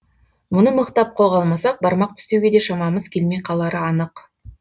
мұны мықтап қолға алмасақ бармақ тістеуге де шамамыз келмей қалары анық